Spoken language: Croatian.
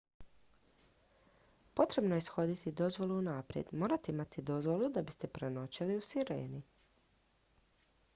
potrebno je ishoditi dozvolu unaprijed morate imati dozvolu da biste prenoćili u sireni